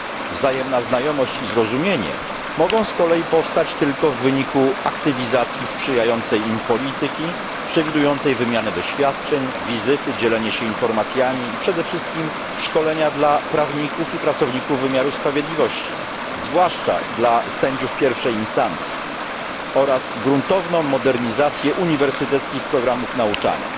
Wzajemna znajomość i zrozumienie mogą z kolei powstać tylko w wyniku aktywizacji sprzyjającej im polityki przewidującej wymianę doświadczeń, wizyt, dzielenia się informacjami i przede wszystkim szkolenia dla prawników i pracowników wymiaru sprawiedliwości zwłaszcza dla sędziów pierwszej instancji oraz gruntowną modernizację uniwersyteckich programów nauczania.